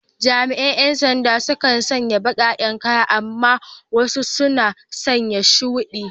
Jami’an ‘yan sanda sukan sanya baƙaƙen kaya amma wasu suna sanya shudi.